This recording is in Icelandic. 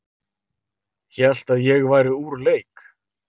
Hélt að ég væri úr leik